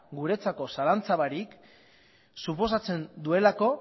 guretzako zalantza barik suposatzen duelako